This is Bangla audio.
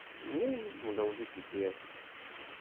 এই মোটামুটি ঠিকই আছে.